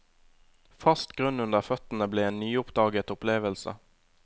Fast grunn under føttene ble en nyoppdaget opplevelse.